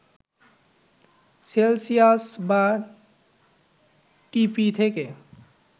Celsius বা ঢিপি থেকে